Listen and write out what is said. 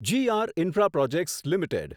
જી R Infraprojects limited